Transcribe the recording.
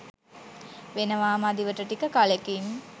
වෙනවා මදිවට ටික කලෙකින්